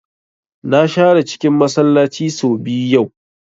Na share cikin Masallaci sau biyu yau